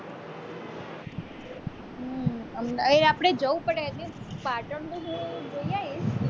અહીં આપણે જવું પડે પાટણ